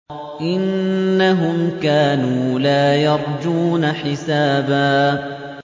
إِنَّهُمْ كَانُوا لَا يَرْجُونَ حِسَابًا